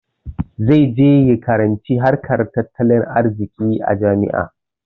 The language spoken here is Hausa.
Zai je ya karanci harkar tattalin arziƙi a jami'a.